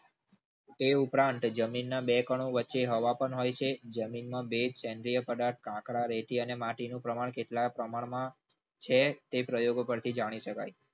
તે ઉપરાંત જમીનના બે કણો વચ્ચે હવા પણ હોય છે જમીનમાં બે સેન્દ્રીય પદાર્થનું પ્રમાણ રેતી માટી કાંકરા કેટલા પ્રમાણમાં છે. તે પ્રયોગો પરથી જાણી શકાય છે.